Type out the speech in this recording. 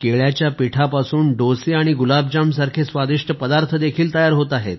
केळ्याच्या पिठापासून डोसे आणि गुलाबजाम सारखे स्वादिष्ट पदार्थ देखील तयार होत आहेत